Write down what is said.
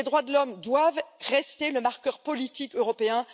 Les droits de l'homme doivent rester le marqueur politique européen.